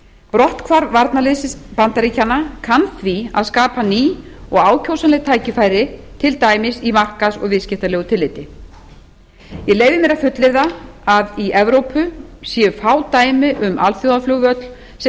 brotthvarf varnarliðs bandaríkjanna kann því að skapa ný og ákjósanleg tækifæri til dæmis í markaðs og viðskiptalegu tilliti ég leyfi mér að fullyrða að í evrópu séu fá dæmi um alþjóðaflugvöll sem